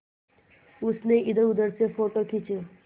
उसने इधरउधर से फ़ोटो खींचे